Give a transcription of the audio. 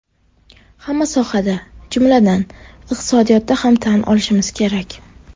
Hamma sohada, jumladan, iqtisodiyotda ham tan olishimiz kerak.